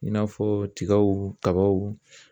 I n'a fɔ tigaw kabaw